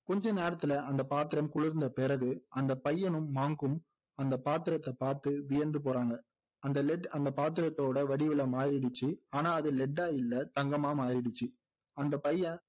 கொஞ்ச நேரத்துல அந்த பாத்திரம் குளிர்ந்த பிறகு அந்த பையனும் monk உம் அந்த பாத்திரத்தை பாத்து வியந்து போறாங்க அந்த lead அந்த பாத்திரத்தோட வடிவில மாறிடுச்சு ஆனா அது lead ஆ இல்லை தங்கமா மாறிடுச்சு அந்த பையன்